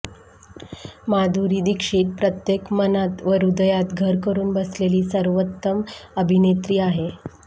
माधुरी दीक्षित प्रत्येक मनात व ह्रद्यात घर करुन बसलेली सर्वोत्तम अभिनेत्री आहे